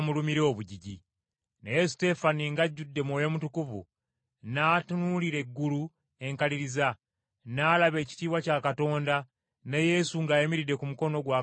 Naye Suteefano ng’ajjudde Mwoyo Mutukuvu, n’atunuulira eggulu enkaliriza, n’alaba ekitiibwa kya Katonda, ne Yesu ng’ayimiridde ku mukono gwa Katonda ogwa ddyo.